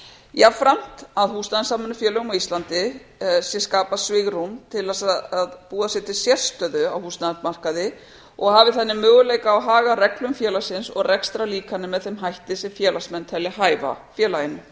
jafnframt að húsnæðissamvinnufélögum á íslandi sé skapað svigrúm til að búa sér til sérstöðu á húsnæðismarkaði og hafi þannig möguleika á að haga reglum félagsins og rekstrarlíkani með þeim hætti sem félagsmenn telja hæfa félaginu